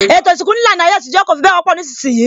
Ètò isinku ní ìlànà ayé àtijọ́ kò fi bẹ wọ́pọ̀ nísìnsìnyí